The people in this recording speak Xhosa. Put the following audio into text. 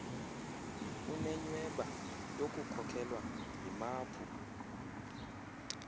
unenyhweba yokukhokelwa yimaphu